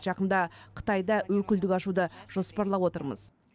жақында қытайда өкілдік ашуды жоспарлап отырмыз